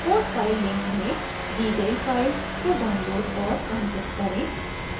code file link में दी गयी फाइल्स को डाउनलोड और अनज़िप करें